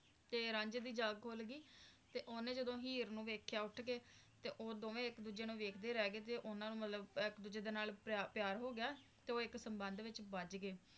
ਤੇ ਰਾਂਝੇ ਦੀ ਜਾਗ ਖੁਲ ਗਈ ਤੇ ਓਹਨੇ ਜਦੋ ਹੀਰ ਨੂੰ ਵੇਖਿਆ ਉੱਠ ਕੇ ਤੇ ਉਹ ਦੋਵੇ ਇਕ ਦੂਜੇ ਨੂੰ ਵੇਖਦੇ ਰਹਿ ਗਏ ਤੇ ਓਹਨਾ ਨੂੰ ਮਤਲਬ ਇੱਕ ਦੂਜੇ ਨਾਲ ਪਿਆਰ ਹੋ ਗਿਆ ਤੇ ਉਹ ਇੱਕ ਸੰਬੰਧ ਵਿਚ ਬੱਧ ਗਏ